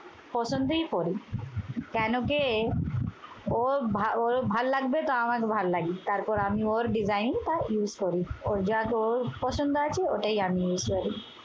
পছন্দই করি। কেন যে ওর ভা ওর ভাল লাগবে তো আমাকে ভালো লাগি। তারপর আমি ওর design টা use করি। ওর যাতে ওর পছন্দ আছে ওটাই আমি use করি।